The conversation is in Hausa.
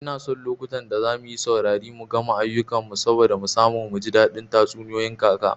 Ina son lokutan da zamuyi sauri mu gama ayukan mu saboda mu samu muji daɗin tatsuniyoyin kaka